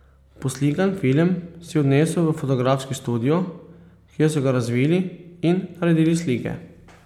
Poslikan film si odnesel v fotografski studio, kjer so ga razvili in naredili slike.